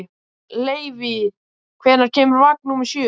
Leivi, hvenær kemur vagn númer sjö?